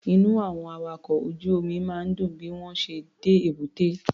Inú àwọn awakọ̀ ojú omi náà dùn bí wọ́n ṣe dé èbúté.